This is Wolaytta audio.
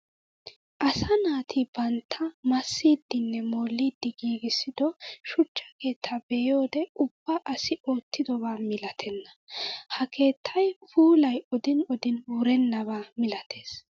Asaa naati bantta massidinne molliddi giigissiddo shuchcha keetta be'iyoode ubba asi oottidoba milatenna. Ha keettay puulay odin odin wurenabba milatees.